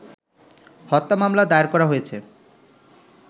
হত্যা মামলা দায়ের করা হয়েছে